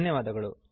ಧನ್ಯವಾದಗಳು